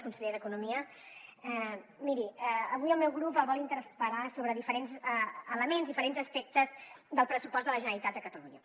conseller d’economia miri avui el meu grup el vol interpel·lar sobre diferents elements diferents aspectes del pressupost de la generalitat de catalunya